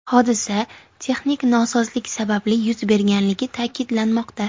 Hodisa texnik nosozlik sababli yuz berganligi ta’kidlanmoqda.